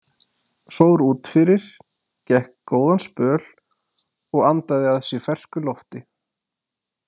Fór út fyrir, gekk góðan spöl og andaði að sér fersku lofti.